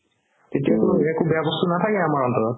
তেতিয়াতো একো বেয়া বস্তু নাথাকে আমাৰ অন্তৰত